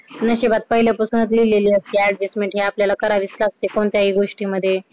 नशिबात पहिले पासूनच लिहलेली असते adjustment हि आपल्याला करावीच लागते काही गोष्टींमध्ये